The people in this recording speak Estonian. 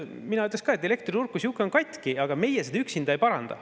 Mina ütleks ka, et elektriturg kui sihuke on katki, aga meie seda üksinda ei paranda.